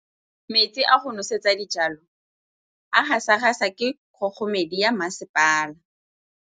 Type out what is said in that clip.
Metsi a go nosetsa dijalo a gasa gasa ke kgogomedi ya masepala.